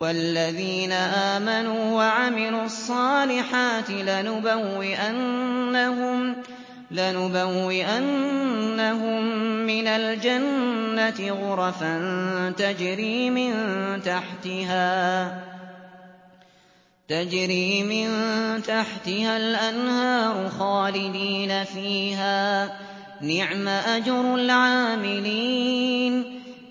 وَالَّذِينَ آمَنُوا وَعَمِلُوا الصَّالِحَاتِ لَنُبَوِّئَنَّهُم مِّنَ الْجَنَّةِ غُرَفًا تَجْرِي مِن تَحْتِهَا الْأَنْهَارُ خَالِدِينَ فِيهَا ۚ نِعْمَ أَجْرُ الْعَامِلِينَ